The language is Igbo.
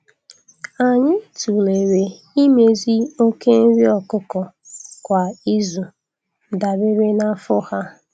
Anyị tụlere imezi oke nri ọkụkọ kwa izu dabere na afọ ha.